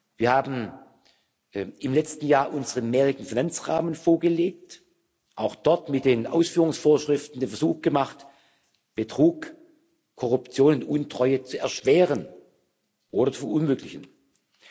Wir haben im letzten Jahr unseren mehrjährigen Finanzrahmen vorgelegt auch dort wird mit den Ausführungsvorschriften der Versuch gemacht, Betrug, Korruption und Untreue zu erschweren oder unmöglich zu machen.